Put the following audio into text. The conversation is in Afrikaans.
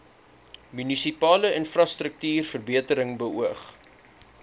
munisipale infrastruktuurverbetering beoog